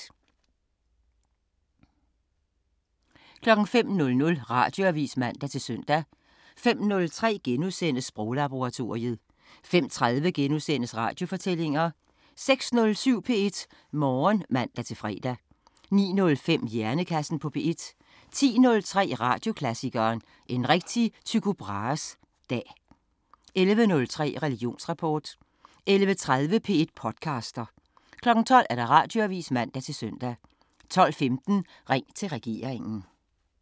05:00: Radioavisen (man-søn) 05:03: Sproglaboratoriet * 05:30: Radiofortællinger * 06:07: P1 Morgen (man-fre) 09:05: Hjernekassen på P1 10:03: Radioklassikeren: En rigtig Tycho Brahes Dag 11:03: Religionsrapport 11:30: P1 podcaster 12:00: Radioavisen (man-søn) 12:15: Ring til regeringen